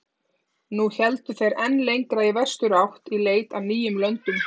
Nú héldu þeir enn lengra í vesturátt í leit að nýjum löndum.